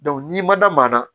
n'i ma da maa na